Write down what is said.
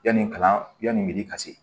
Yanni kalanni mi ka se